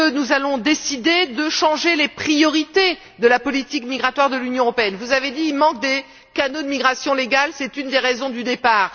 Allons nous décider de changer les priorités de la politique migratoire de l'Union européenne? Vous avez dit qu'il manquait des canaux de migration légale, et que c'était une des raisons du départ.